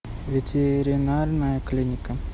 ветеринарная клиника